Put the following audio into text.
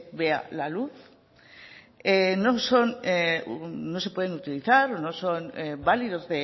vea la luz no se pueden utilizar o no son válidos